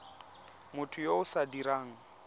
motho yo o sa dirang